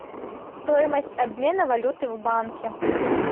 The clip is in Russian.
стоимость обмена валюты в банке